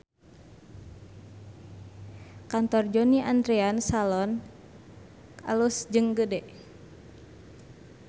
Kantor Johnny Andrean Salon alus jeung gede